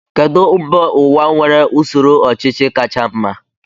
Kedụ mba ụwa nwere usoro ọchịchị kacha mma?